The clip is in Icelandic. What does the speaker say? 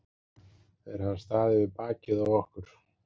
Þeir hafa staðið við bakið á okkur.